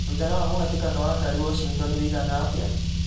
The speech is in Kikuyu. mwĩigana wa mũhatĩkano wa ngari washington wĩigana atĩa